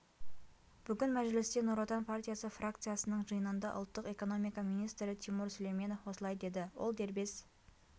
бүгін мәжілісте нұр отан партиясы фракциясының жиынында ұлттық экономика министрі тимур сүлейменов осылай деді ол дербес